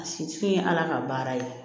A si te ye ala ka baara ye